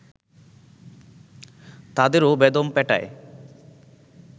তাদেরও বেদম পেটায়